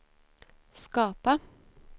skapa